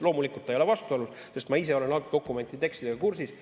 Loomulikult, ta ei ole vastuolus, sest ma ise olen algdokumendi tekstiga kursis.